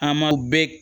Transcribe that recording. An m'aw bɛɛ